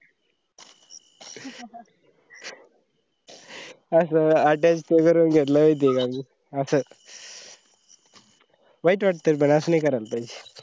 असं attach ते करून घेतला महित आहे का मी असं वाईट वाटतं पण असं नई करायला पाहीजे.